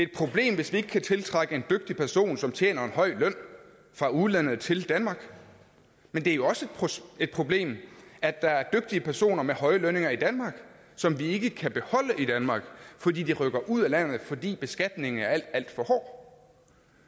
problem hvis vi ikke kan tiltrække en dygtig person som tjener en høj løn fra udlandet til danmark men det er jo også et problem at der er dygtige personer med høje lønninger i danmark som vi ikke kan beholde i danmark fordi de rykker ud af landet fordi beskatningen er alt alt for hård